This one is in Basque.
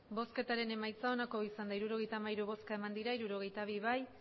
emandako botoak hirurogeita hamairu bai hirurogeita bi ez